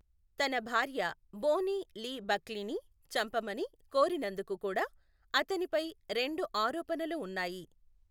తన భార్య Bonnie Lee బక్లీని చంపమని కోరినందుకు కూడా అతనిపై రెండు ఆరోపణలు ఉన్నాయి.